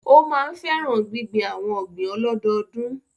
Ó máa ń fẹ́ràn gbíngbin àwon ọ̀gbìn ọlọ́dọdún